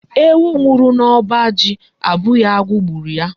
Ewu nwuru n'oba ji abughi agu gburu ya